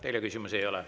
Teile küsimusi ei ole.